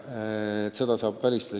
Seda saab ära hoida.